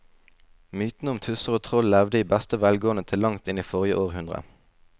Mytene om tusser og troll levde i beste velgående til langt inn i forrige århundre.